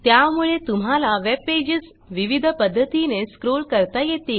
त्या मुळे तुम्हाला वेबपेजेस विविध पध्दतीने स्क्रॉल करता येतील